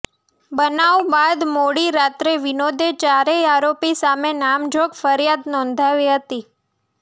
બનાવ બાદ મોડી રાત્રે વિનોદે ચારેય આરોપી સામે નામજોગ ફરિયાદ નોંધાવી હતી